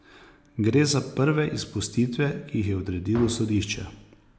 Gre za prve izpustitve, ki jih je odredilo sodišče.